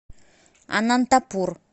анантапур